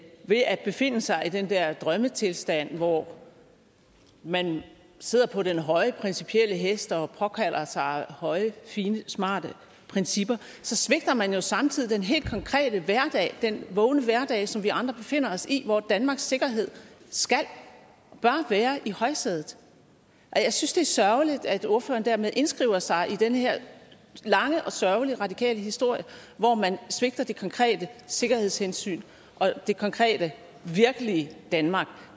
ved at befinde sig i den der drømmetilstand hvor man sidder på den høje hest og påkalder sig høje fine smarte principper svigter man jo samtidig den helt konkrete hverdag den vågne hverdag som vi andre befinder os i hvor danmarks sikkerhed skal og bør være i højsædet jeg synes det er sørgeligt at ordføreren dermed indskriver sig i den her lange og sørgelige radikale historie hvor man svigter det konkrete sikkerhedshensyn og det konkrete virkelige danmark